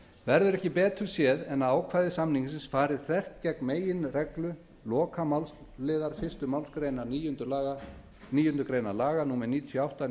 verður ekki betur séð en að ákvæði samningsins fari þvert gegn meginreglu lokamálsliðar fyrstu málsgrein níundu grein laga númer níutíu og átta